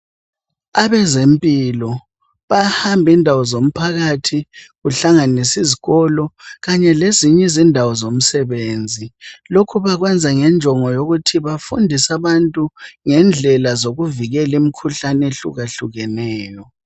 Abazempilo bayahamba indawo zomphakathi kuhlanganise izikolo, kanye lezinye indawo zomsebenzi, lokhu bakwenza ngenjongo yokuthi bafundise abantu ngendlela zokuvikela imikhuhlane ehluka hlukeneyo.